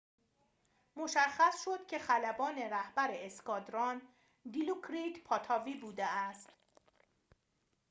مشخص شد که خلبان رهبر اسکادران دیلوکریت پاتاوی بوده است